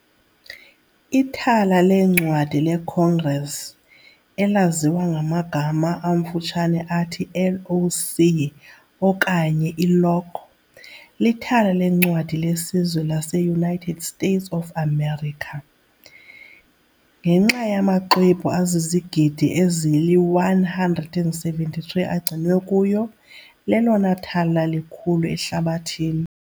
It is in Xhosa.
Ithala leencwadi leCongress, elaziwa ngamagama amfutshane athi LOC okanye iLoc, lithala leencwadi lesizwe laseUnited States of America. Ngenxa yamaxwebhu azizigidi ezili-173 agcinwe kuyo, lelona thala likhulu ehlabathini.